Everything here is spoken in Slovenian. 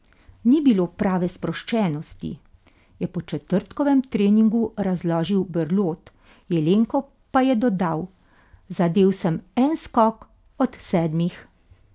Ni bilo prave sproščenosti," je po četrtkovem treningu razložil Berlot, Jelenko pa je dodal: "Zadel sem en skok od sedmih.